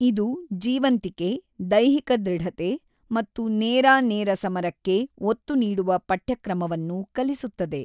ಇದು ಜೀವಂತಿಕೆ, ದೈಹಿಕ ದೃಢತೆ ಮತ್ತು ನೇರಾ ನೇರ ಸಮರಕ್ಕೆ ಒತ್ತು ನೀಡುವ ಪಠ್ಯಕ್ರಮವನ್ನು ಕಲಿಸುತ್ತದೆ.